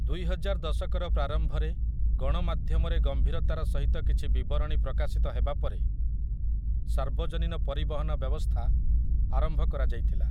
ଦୁଇହଜାର ଦଶକର ପ୍ରାରମ୍ଭରେ ଗଣମାଧ୍ୟମରେ ଗମ୍ଭୀରତାର ସହିତ କିଛି ବିବରଣୀ ପ୍ରକାଶିତ ହେବାପରେ ସାର୍ବଜନୀନ ପରିବହନ ବ୍ୟବସ୍ଥା ଆରମ୍ଭ କରାଯାଇଥିଲା ।